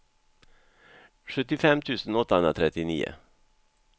sjuttiofem tusen åttahundratrettionio